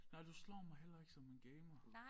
Nej du slår mig heller ikke som en gamer